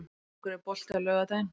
Ylfingur, er bolti á laugardaginn?